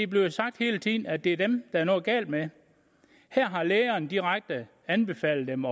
bliver sagt at det er dem er noget galt med her har lægerne direkte anbefalet dem